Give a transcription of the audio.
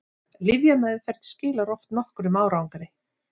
lyfjameðferð skilar oft nokkrum árangri